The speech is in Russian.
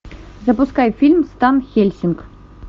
запускай фильм стан хельсинг